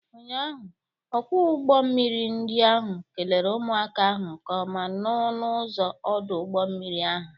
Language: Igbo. Ụnyaahụ, ọkwọ ụgbọ mmiri ndi ahụ kelere ụmụaka ahụ nke ọma n'ọnụ ụzọ ọdụ ụgbọ mmiri ahụ.